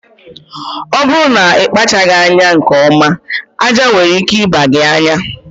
Ọ bụrụ na ịkpachaghị anya nke ọma, aja nwere ike ịba gị anya